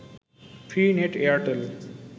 free net Airtel